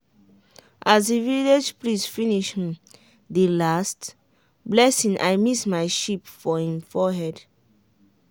as the village priest finish um the last blessing i miss my sheep for him forehead.